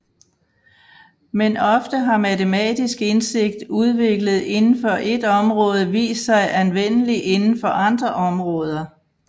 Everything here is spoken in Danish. Men ofte har matematisk indsigt udviklet inden for ét område vist sig anvendelig inden for andre områder